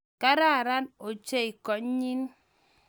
Kararan ochei konyii